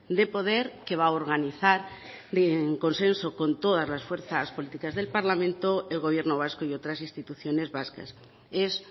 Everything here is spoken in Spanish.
de poder que va a organizar en consenso con todas las fuerzas políticas del parlamento el gobierno vasco y otras instituciones vascas es